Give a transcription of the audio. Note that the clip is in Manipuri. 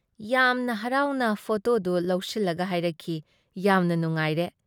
ꯌꯥꯝꯅ ꯍꯔꯥꯎꯅ ꯐꯣꯇꯣꯗꯨ ꯂꯧꯁꯤꯜꯂꯒ ꯍꯥꯏꯔꯛꯈꯤ -"ꯌꯥꯝꯅ ꯅꯨꯉꯥꯏꯔꯦ꯫